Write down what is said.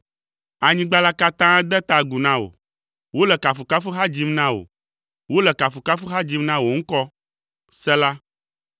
Anyigba la katã de ta agu na wò, wole kafukafuha dzim na wò, wole kafukafuha dzim na wò ŋkɔ.” Sela